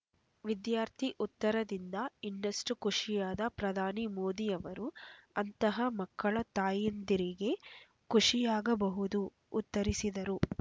ವಿದ್ಯಾರ್ಥಿ ಉತ್ತರದಿಂದ ಇನ್ನಷ್ಟು ಖುಷಿಯಾದ ಪ್ರಧಾನಿ ಮೋದಿಯವರು ಅಂತಹ ಮಕ್ಕಳ ತಾಯಿಂದಿರಿಗೆ ಖುಷಿಯಾಗಬಹುದು ಉತ್ತರಿಸಿದರು